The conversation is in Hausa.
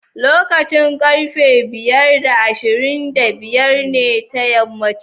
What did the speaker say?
Lokacin karfe biyar da ashirin da biyar ne ta yammaci